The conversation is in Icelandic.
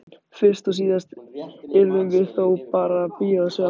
Fyrst og síðast yrðum við þó bara að bíða og sjá.